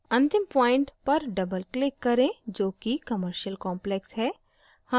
अंतिम point पर doubleclick करें जो कि commercial complex है